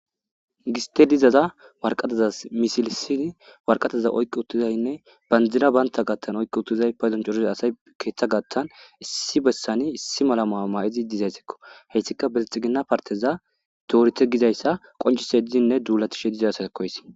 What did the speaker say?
Gite gizaysa waraqatazan misilisid waraqataza oyki utidayinne bandiray banta gathan oyki utiday paydon coriza asyi keetha gathan issi besan issi mala mayo mayid dizesko, haysika bilixigina partez adorite gizaysa qocisidinne dulatishe de'izaysako haysi